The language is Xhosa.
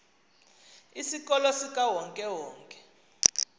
isikolo sikawonke wonke